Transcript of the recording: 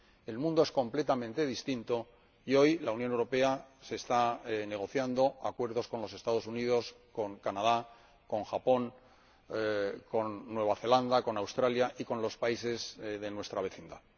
El mundo es completamente distinto y hoy en la Unión Europea se están negociando acuerdos con los Estados Unidos, con Canadá, con Japón, con Nueva Zelanda, con Australia y con los países de nuestra vecindad.